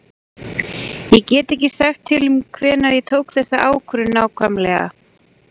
Ég get ekki sagt til um hvenær ég tók þessa ákvörðun nákvæmlega.